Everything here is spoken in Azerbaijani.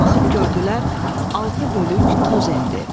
Baxıb gördülər altı bölük toz endi.